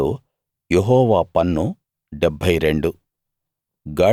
వాటిలో యెహోవా పన్ను 72